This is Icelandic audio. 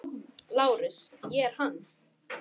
LÁRUS: Ég er hann.